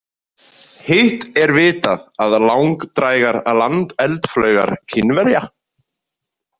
Hitt er vitað að langdrægar landeldflaugar Kínverja.